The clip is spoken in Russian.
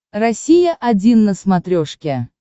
россия один на смотрешке